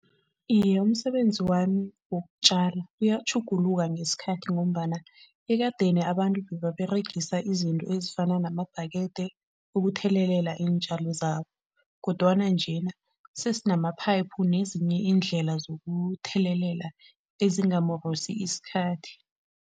Iye, umsebenzi wami wokutjala uyatjhuguluka ngesikhathi ngombana ekadeni abantu bebaregisa izinto ezifana nemabhakede ukuthelelela iintjalo zabo kodwana njena sesinama-pipe nezinye iindlela zokuthelelela ezingamorosi isikhathi.